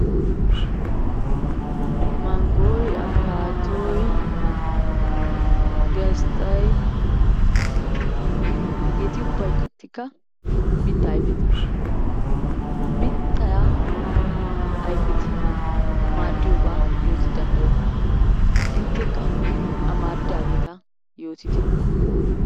Manggoy, afkkattoy, gisxxay, hegeti ubbatikka mitta ayfeta, mitta ayfeti maaddiyooba yooti danddayokko. Inttekka amaridaageeta yootite.